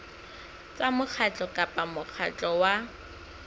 tsa mokgatlo kapa mokgatlo wa